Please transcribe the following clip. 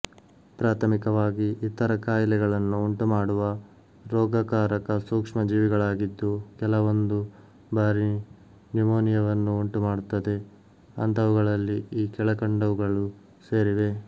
ಪ್ರಾಥಮಿಕವಾಗಿ ಇತರ ಕಾಯಿಲೆಗಳನ್ನು ಉಂಟುಮಾಡುವ ರೋಗಕಾರಕ ಸೂಕ್ಷ್ಮ ಜೀವಿಗಳಾಗಿದ್ದು ಕೆಲವೊಂದು ಬಾರಿ ನ್ಯುಮೋನಿಯವನ್ನು ಉಂಟುಮಾಡುತ್ತದೆ ಅಂತಹವುಗಳಲ್ಲಿ ಈ ಕೆಳಕಂಡವುಗಳು ಸೇರಿವೆ